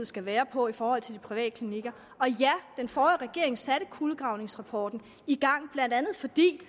skal være på i forhold til de private klinikker og ja den forrige regering satte kulegravningsrapporten i gang blandt andet fordi